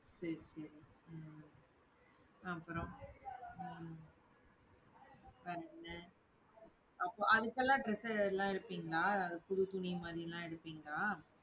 சரி சரி உம் அப்புறம் உம் உம் வேற என்ன அப்ப அதுக்கெல்லாம் dress எல்லாம் எடுப்பீங்களா புது துணி மாதிரி எல்லாம் எடுப்பீங்களா?